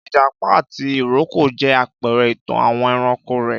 Ìjàpá àti ìrókò jẹ́ àpẹrẹ ìtàn àwọn ẹranko rèé